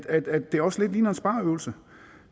at det også lidt ligner en spareøvelse